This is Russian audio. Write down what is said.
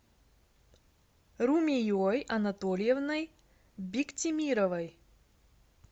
румией анатольевной биктимировой